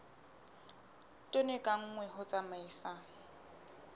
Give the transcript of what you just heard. tone ka nngwe ho tsamaisa